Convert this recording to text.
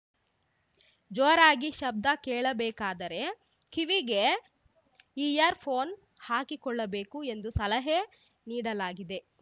ಜೋರಾಗಿ ಶಬ್ದ ಕೇಳಬೇಕಾದರೆ ಕಿವಿಗೆ ಇಯರ್‌ ಫೋನ್‌ ಹಾಕಿಕೊಳ್ಳಬೇಕು ಎಂದು ಸಲಹೆ ನೀಡಲಾಗಿದೆ